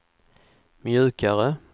mjukare